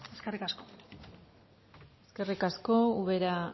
eskerrik asko eskerrik asko ubera